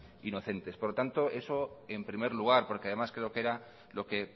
inocentes por lo tanto eso en primer lugar porque además creo que era lo que